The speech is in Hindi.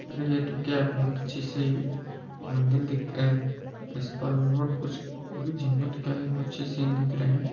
तो क्या बहुत अच्छे सी मंदिर दिख रहा है इस पर रॉट कुछ की जंगल अच्छे सीन दिख रहे है।